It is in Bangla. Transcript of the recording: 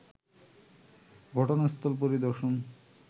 ঘটনাস্থল পরিদর্শন